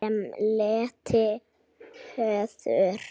Smellti öðru hverju af.